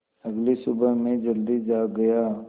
अगली सुबह मैं जल्दी जाग गया